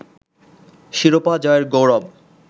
শিরোপা জয়ের গৌরব